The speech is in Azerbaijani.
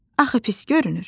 Axı pis görünür.